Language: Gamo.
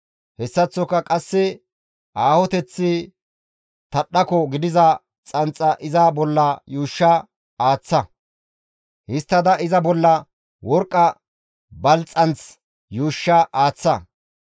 Hessaththoka qasse aahoteththi tadhdhako gidiza xanxa iza bolla yuushsha aaththa. Histtada iza bolla worqqa balxxanth yuushsha aaththa.